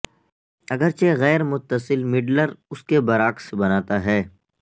اگرچہ غیر متصل مڈلر اس کے برعکس بناتا ہے